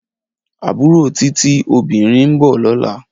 Abúró Titi (óbirín) n bò lòlá